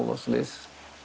og svoleiðis